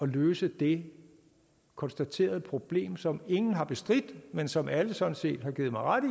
løse det konstaterede problem som ingen har bestridt men som alle sådan set har givet mig ret